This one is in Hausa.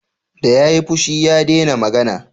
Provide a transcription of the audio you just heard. Da ya yi fushi, ya dena magana